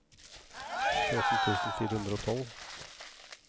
tretten tusen fire hundre og tolv